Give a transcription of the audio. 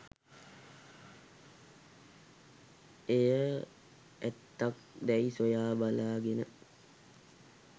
එය ඇත්තක් දැයි සොයා බලාගෙන